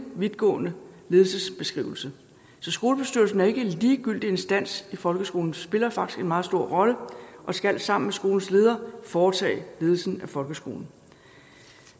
vidtgående ledelsesbeskrivelse så skolebestyrelsen er ikke en ligegyldig instans i folkeskolen den spiller faktisk en meget stor rolle og skal sammen med skolens leder foretage ledelsen af folkeskolen